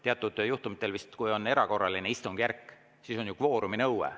Teatud juhtumitel, vist siis, kui on erakorraline istungjärk, on ju kvooruminõue.